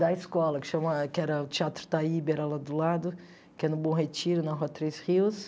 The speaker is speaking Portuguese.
Da escola, que chama que era o Teatro Taíbe, era lá do lado, que é no Bom Retiro, na Rua Três Rios.